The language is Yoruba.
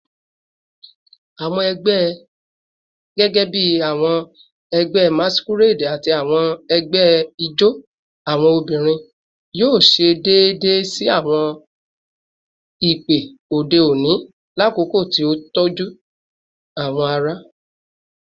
Awọn ẹgbẹ, gẹgẹbi awọn ẹgbẹ masquerade ati awọn ẹgbẹ ijó awọn obinrin, yoo ṣe deede si awọn ipo ode oni lakoko ti o tọju awọn aṣa